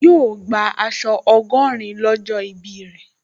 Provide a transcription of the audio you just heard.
Yóò gbà aṣọ ọgọ́rin lọ́jọ́ ìbí rẹ̀